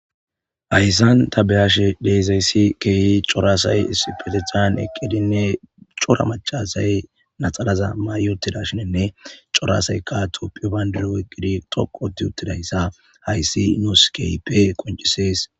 Haysan ta be'ashshe de'izayssi kehi corra assay issipetteththan eqidinne corra maca assay laxanaza mayi uttidashshininne corra assayka tophphiya bandira oykidi tsoqu ooththi uttidayssa hayssi nussi ke'ippe qoncisees